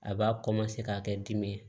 A b'a ka kɛ dimi ye